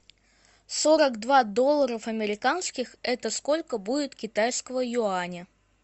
сорок два доллара американских это сколько будет китайского юаня